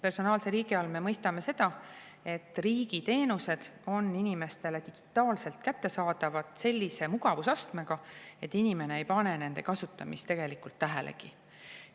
Personaalse riigi all me mõistame seda, et riigi teenused on inimestele digitaalselt kättesaadavad sellise mugavusastmega, et inimene ei pane nende kasutamist tähelegi.